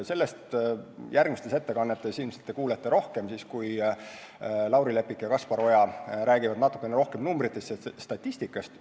Sellest kõigest kuulete järgmistes ettekannetes ilmselt rohkem, kui Lauri Leppik ja Kaspar Oja räägivad veidi enam numbritest ja statistikast.